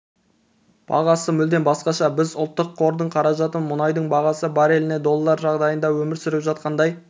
бағасы мүлдем басқаша біз ұлттық қордың қаражатын мұнайдың бағасы барреліне доллар жағдайында өмір сүріп жатқандай